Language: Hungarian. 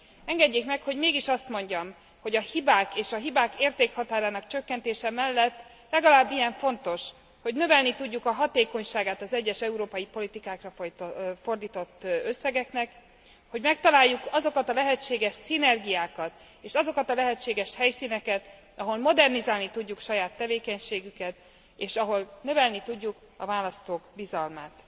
Engedjék meg, hogy mégis azt mondjam, hogy a hibák és a hibák értékhatárának csökkentése mellett legalább ilyen fontos, hogy növelni tudjuk a hatékonyságát az egyes európai politikákra fordított összegeknek, hogy megtaláljuk azokat a lehetséges szinergiákat és azokat a lehetséges helyszíneket, ahol modernizálni tudjuk saját tevékenységüket, és ahol növelni tudjuk a választók bizalmát.